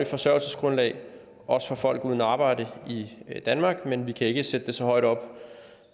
forsørgelsesgrundlag også for folk uden arbejde i danmark men vi kan ikke sætte det så højt op